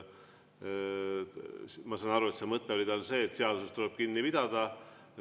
Ma saan aru, et tema mõte oli see, et seadusest tuleb kinni pidada.